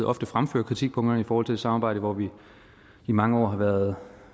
ofte fremfører kritikpunkterne i forhold til et samarbejde hvor vi i mange år har været